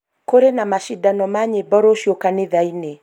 kũrĩ na macindano ma nyĩmbo rũciũ kanitha-inĩ